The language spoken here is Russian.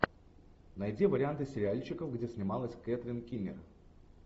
найди варианты сериальчиков где снималась кэтрин кинер